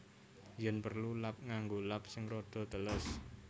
Yen prelu lap nganggo lap sing rada teles